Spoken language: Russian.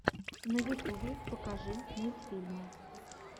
на ютубе покажи мультфильмы